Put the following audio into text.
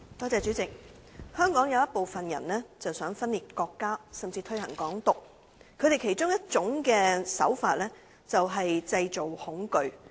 主席，香港有部分人想分裂國家，甚至推行"港獨"，他們其中一種手法便是製造恐懼。